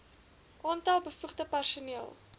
aantal bevoegde personeel